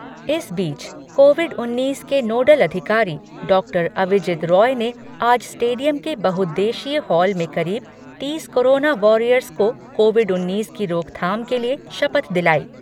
इस बीच, कोविड उन्नीस के नोडल अधिकारी डॉक्टर अविजित रॉय ने आज स्टेडियम के बहुद्देशीय हॉल में करीब तीस कोरोना वॉरियर्स को कोविड उन्नीस की रोकथाम के लिए शपथ दिलाई।